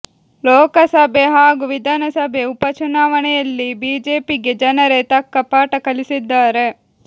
ಲೋಕಸಭೆ ಹಾಗೂ ವಿಧಾನಸಭೆ ಉಪ ಚುನಾವಣೆಯಲ್ಲಿ ಬಿಜೆಪಿಗೆ ಜನರೇ ತಕ್ಕ ಪಾಠ ಕಲಿಸಿದ್ದಾರೆ